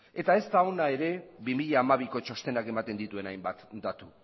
eta ez da ona ere bi mila hamabiko txostenak ematen dituen hainbat datu